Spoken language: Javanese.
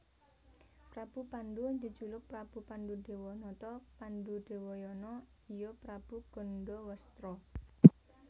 Prabu Pandhu jejuluk Prabu Pandhudewanata Pandhudewayana iya Prabu Gandhawastra